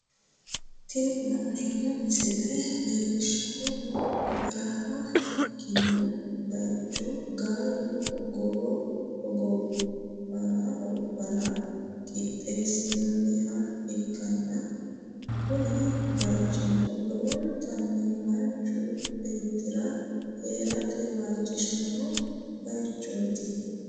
Tini la'neemmo misile leellishshannohu baraha ikkino bayicho gaalu hogowo hogobbara qixxeessinoonniha ikkanna, kuni bayichino lowontanni manchu beettira hee'rate waajishanno bayichooti.